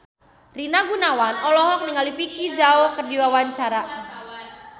Rina Gunawan olohok ningali Vicki Zao keur diwawancara